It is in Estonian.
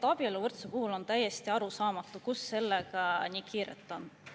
Abieluvõrdsuse puhul on täiesti arusaamatu, kuhu sellega nii kiire on.